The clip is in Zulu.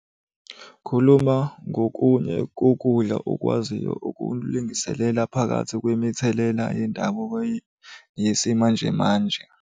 Khuluma ngokunye kokudla okwaziyo ukulingiselela phakathi kwemithelela yendabuko yesimanjemanje.